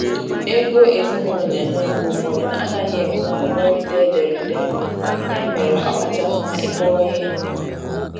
Ego ezinụlọ na enye mgbe ụfọdụ anaghị enwe nkwekọrịta ederede, ya mere ọ kacha mma ịkọwa ihe nkeọma